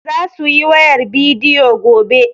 Za su yi wayar bidiyo gobe.